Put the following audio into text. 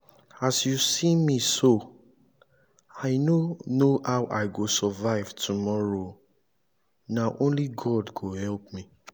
as you see me so i no know how i go survive tomorrow na only god go help me